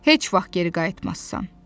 Heç vaxt geri qayıtmazsan.